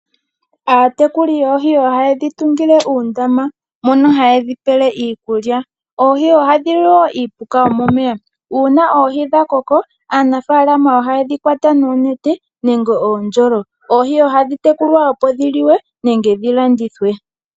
Aatekuli yoohi ohaye dhi tungile uundama mono haye dhipele iikulya. Oohi ohadhi li wo iipuka yomomeya. Uuna oohi dhakoko aanafaalama ohaye dhi kwata noonete nenge oondjolo. Oohi ohadhi tekulwa opo dhi liwe nenge dhi landithwe.